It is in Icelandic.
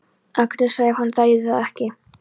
Agnesar ef hann þægi það ekki?